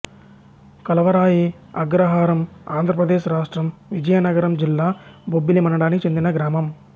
కలవరాయి అగ్రహారంఆంధ్ర ప్రదేశ్ రాష్ట్రం విజయనగరం జిల్లా బొబ్బిలి మండలానికి చెందిన గ్రామం